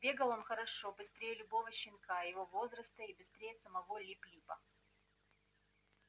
бегал он хорошо быстрее любого щенка его возраста и быстрее самого липлипа